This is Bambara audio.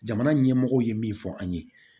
Jamana ɲɛmɔgɔw ye min fɔ an ye